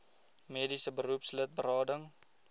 mediese beroepslid berading